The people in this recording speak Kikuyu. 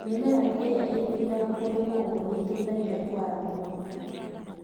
Mĩmera ĩria ĩtiraga kũndũ kũmũ nĩiteithagia kwara mũno.